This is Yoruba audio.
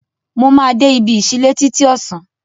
Mo máa de ibi ìsílẹ́ títí ọ̀sán